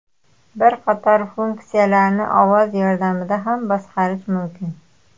Bir qator funksiyalarni ovoz yordamida ham boshqarish mumkin.